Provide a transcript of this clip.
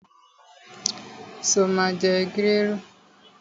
Sọ ma jẹ gírèrù?